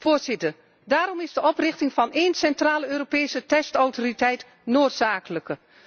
Meten is weten. Voorzitter, daarom is de oprichting van één centrale Europese testautoriteit